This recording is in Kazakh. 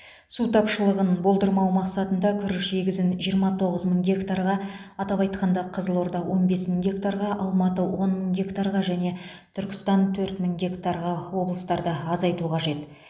су тапшылығын болдырмау мақсатында күріш егісін жиырма тоғыз мың гектарға атап айтқанда қызылорда он бес мың гектарға алматы он мың гектарға және түркістан төрт мың гектарға облыстарда азайту қажет